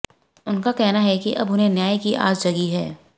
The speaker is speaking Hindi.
उनका कहना है कि अब उन्हें न्याय की आस जगी है